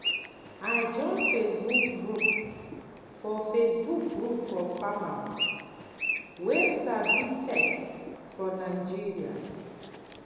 i join facebook group for facebook group for farmers wey sabi tech for nigeria.